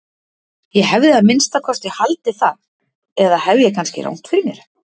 Ég hefði að minnsta kosti haldið það eða hef ég kannski rangt fyrir mér?